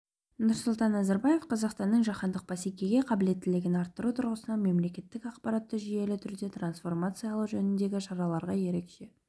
нұрсұлтан назарбаев қазақстанның жаһандық бәсекеге қабілеттігін арттыру тұрғысынан мемлекеттік аппаратты жүйелі түрде трансформациялау жөніндегі шараларға ерекше